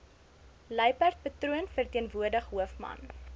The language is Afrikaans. luiperdpatroon verteenwoordig hoofman